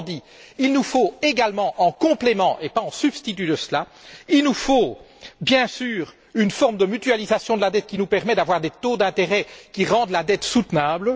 Autrement dit, il nous faut également, en complément et non pas en substitut de cela, bien sûr, une forme de mutualisation de la dette qui nous permette d'avoir des taux d'intérêt qui rendent la dette soutenable.